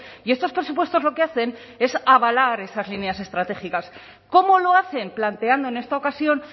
y estos presupuestos lo que hacen es avalar esas líneas estratégicas cómo lo hacen planteando en esta ocasión